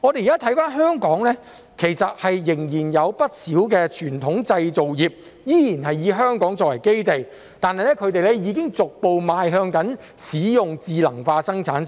現時，香港仍然有不少傳統製造業是以香港作為基地的，但它們已經逐步邁向使用智能化生產線。